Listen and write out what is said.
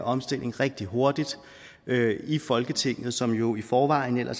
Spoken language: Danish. omstilling rigtig hurtigt i folketinget som jo i forvejen er